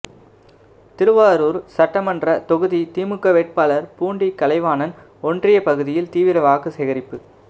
திருவாரூர் சட்டமன்ற தொகுதி திமுக வேட்பாளர் பூண்டி கலைவாணன் ஒன்றிய பகுதியில் தீவிர வாக்கு சேகரிப்பு